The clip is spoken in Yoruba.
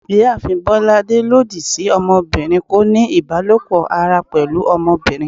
Ìyáàfín bolàdé lọdi sí ọmọbirin koní ibalopọ ará pẹlu ọmọbirin